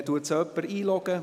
Kann sie jemand einloggen?